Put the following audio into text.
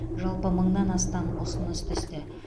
жалпы мыңнан астам ұсыныс түсті